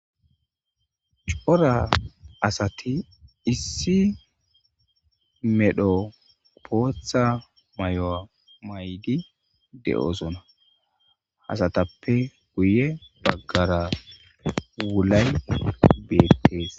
Cora asati issi medhdho boththa mayo mayiddi de'osona.asatappe guye bagara wulayi betees.